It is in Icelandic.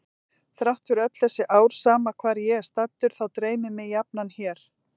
Þrátt fyrir öll þessi ár sama hvar ég er staddur þá dreymir mig jafnan hér.